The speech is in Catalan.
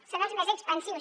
són els més expansius